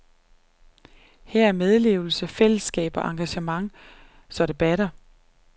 Her er medlevelse, fællesskab og engagement, så det batter.